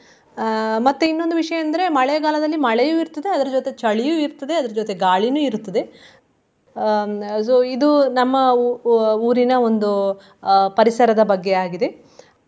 ಅಹ್ ಮತ್ತೆ ಇನ್ನೊಂದು ವಿಷಯ ಅಂದ್ರೆ ಮಳೆಗಾಲದಲ್ಲಿ ಮಳೆಯು ಇರ್ತದೆ, ಅದರ್ ಜೊತೆಗೆ ಚಳಿಯೂ ಇರ್ತದೆ, ಅದರ್ ಜೊತೆ ಗಾಳಿನೂ ಇರ್ತದೆ. ಅಹ್ ಇದು ನಮ್ಮ ಊ~ ಊರಿನ ಒಂದು ಅಹ್ ಪರಿಸರದ ಬಗ್ಗೆ ಆಗಿದೆ.